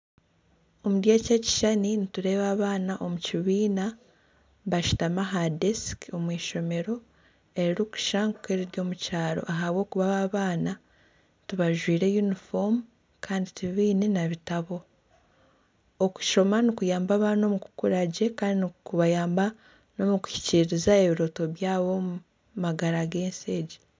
Omuri eki ekishushani nitureeba abaana omu kibiina bashutami aha desiki omu ishomero eri rikushusha nka eriri omu kyaro ahabwokuba aba abaana ti bajwire yunifoomu kandi ti baine n'ebitabo. Okushoma nikuyamba abaana omu kukura gye kandi nikubayamba n'omukuhikiriza ebirooto byabo omu magara g'ensi egi.